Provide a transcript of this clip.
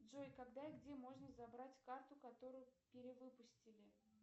джой когда и где можно забрать карту которую перевыпустили